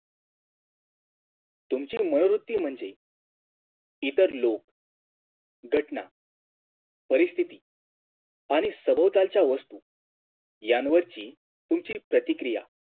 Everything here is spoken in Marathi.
तुमची मनोवृत्ती म्हणजे इतर लोक घटना परिस्तिथी आणि सभोवतालच्या वस्तू यांवरची तुमची प्रतिक्रिया